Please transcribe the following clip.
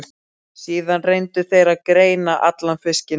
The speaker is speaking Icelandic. Síðan reyndu þeir að greina allan fiskinn.